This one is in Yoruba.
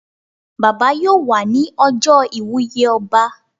Bàbá yóò wà ní ọjọ́ iwùye ọba